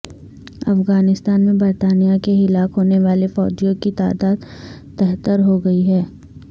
افغانستان میں برطانیہ کے ہلاک ہونے والے فوجیوں کی تعداد تہتر ہوگئی ہے